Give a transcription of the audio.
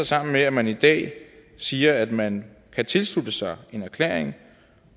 sammen med at man i dag siger at man kan tilslutte sig en erklæring